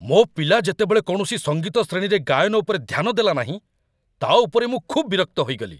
ମୋ ପିଲା ଯେତେବେଳେ କୌଣସି ସଙ୍ଗୀତ ଶ୍ରେଣୀରେ ଗାୟନ ଉପରେ ଧ୍ୟାନ ଦେଲାନାହିଁ, ତା' ଉପରେ ମୁଁ ଖୁବ୍ ବିରକ୍ତ ହୋଇଗଲି।